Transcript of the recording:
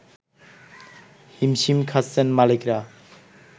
হিমসিম খাচ্ছনে মালিকরা